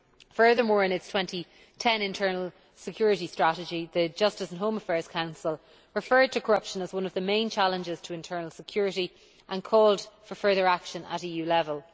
Furthermore, in its 2010 internal security strategy the Justice and Home Affairs Council referred to corruption as one of the main challenges to internal security and called for further action at EU level.